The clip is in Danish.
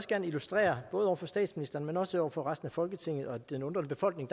gerne illustrere både over for statsministeren men også over for resten af folketinget og den undrende befolkning